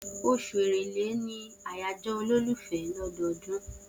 Oṣù Èrèlé ni àyájọ́ olólùfẹ́ lọ́dọọdún.